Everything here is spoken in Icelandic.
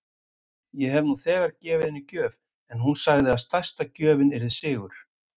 Ég hef nú þegar gefið henni gjöf en hún sagði að stærsta gjöfin yrði sigur.